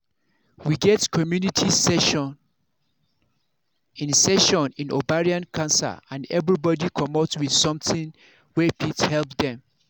we get community session in session in ovarian cancer and everybody commot with something wey fit help dem